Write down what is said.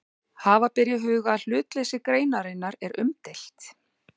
Hafa ber í huga að hlutleysi greinarinnar er umdeilt.